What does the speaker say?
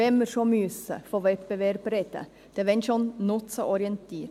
Wenn man schon von Wettbewerb sprechen muss, dann wenn schon nutzenorientiert.